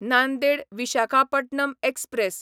Nanded Visakhapatnam express